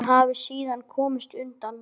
Hún hafi síðan komist undan.